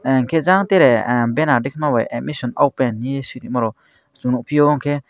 ahh kejeang tere atai ke no ames open he swima rok nugfio unke.